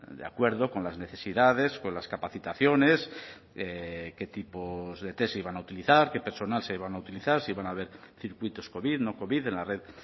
de acuerdo con las necesidades con las capacitaciones qué tipos de test se iban a utilizar qué personal se iba a utilizar si iban a haber circuitos covid no covid en la red